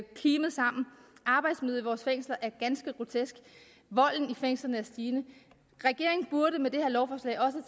vores fængsler er ganske grotesk volden i fængslerne er stigende regeringen burde med det her lovforslag også